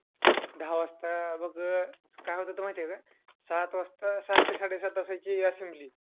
दहा वाजता बघ काय होत होतं माहितीये का, सात वाजता, सात ते साडेसात असायची assembly.